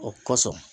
O kosɔn